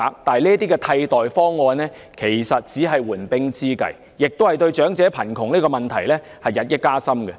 然而，這些替代方案只是緩兵之計，亦會令長者貧窮的問題日益加深。